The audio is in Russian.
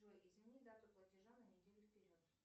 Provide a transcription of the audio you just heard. джой измени дату платежа на неделю вперед